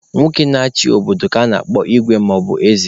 Nwoke na-achị obodo ka a na-akpọ Igwe maọbu eze.